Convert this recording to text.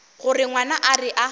gore ngwana a re a